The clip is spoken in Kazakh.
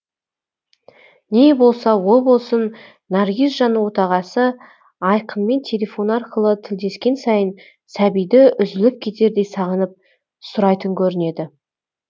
не болса о болсын наргизжан отағасы айқынмен телефон арқылы тілдескен сайын сәбиді үзіліп кетердей сағынып сұрайтын көрінеді